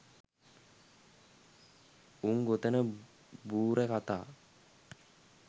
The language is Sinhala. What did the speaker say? උං ගොතන බූරැ කථා